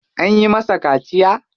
An yi masa kaciya?